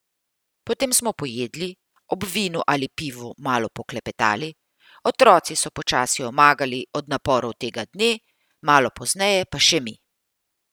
Potem smo pojedli, ob vinu ali pivu malo poklepetali, otroci so počasi omagali od naporov tega dne, malo pozneje pa še mi.